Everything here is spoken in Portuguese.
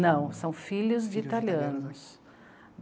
Não, são filhos de italianos.